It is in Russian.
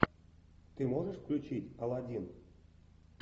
ты можешь включить алладин